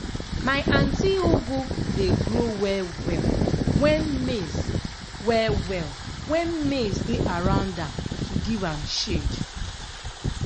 my aunty ugu dey grow well-well when maize well-well when maize dey around am to give am shade.